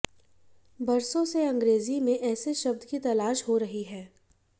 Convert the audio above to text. बरसों से अंग्रेजी में ऐसे शब्द की तलाश हो रही है